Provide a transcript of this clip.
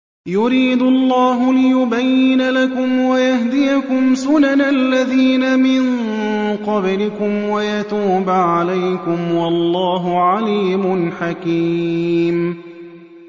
يُرِيدُ اللَّهُ لِيُبَيِّنَ لَكُمْ وَيَهْدِيَكُمْ سُنَنَ الَّذِينَ مِن قَبْلِكُمْ وَيَتُوبَ عَلَيْكُمْ ۗ وَاللَّهُ عَلِيمٌ حَكِيمٌ